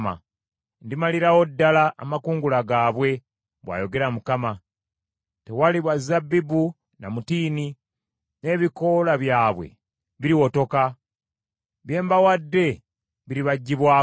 “Ndimalirawo ddala amakungula gaabwe,” bw’ayogera Mukama . Tewaliba zabbibu, na mutiini, n’ebikoola byabwe biriwotoka. Bye mbawadde biribaggyibwako.